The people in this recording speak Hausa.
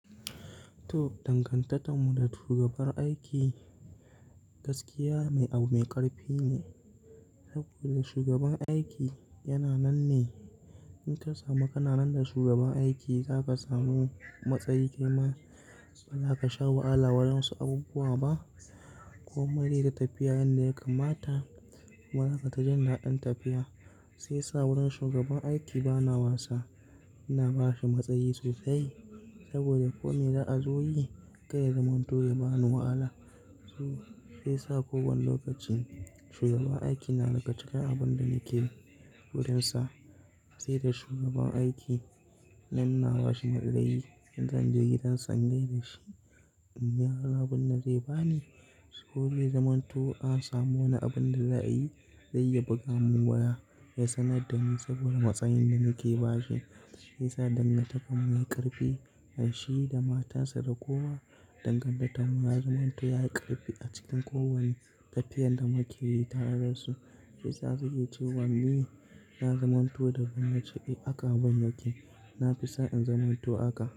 To, dangantarmu da shugabar aiki gaskiya mai abu mai ƙarfi ne. Saboda shugaban aiki yana nan ne. In ka samu kana nan da shugaban aiki, za ka samu matsayi kai ma ba za ka sha wahala waɗansu abubuwa ba, ko mai zai ta tafiya yanda ya kamata. Marasa ta jan daɗin tafiya sai sa wurin shugaban aiki bana wasa, ina ba shi matsayi sosai. Saboda ko me za'a zo yi, kai ya zamanto ya ba ni wahala. Shiyasa kowanne lokacin shugaban aiki na da ga cikin abun da nike yi wurin sa. Sai da shugaban aiki nan na ba shi maɗ'ala'i, in zan je gidan sa ingaida shi, in ga abin da zai ba ni. Sai ko zai zaman to a samo wani abin da za a yi, zai iya buga mun waya ya sanar da ni saboda matsayin da nake bashi. Sai sa danna taɓa mun yi ƙarfi da shi da matarsa da kowa. Dangantarmu da zamanto yayi ƙarfi a cikin kowane tafiyar da muke yi tare da su. Sai sa suke cewa ni na zamanto da ban yake, eh aka ban yake. Na fi son in zamanto haka.